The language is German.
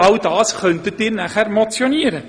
Über alle diese Themen könnten Sie dann motionieren.